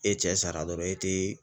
E cɛ sara dɔrɔn, e tɛ